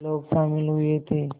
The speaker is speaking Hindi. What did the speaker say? लोग शामिल हुए थे